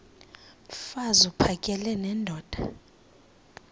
mfaz uphakele nendoda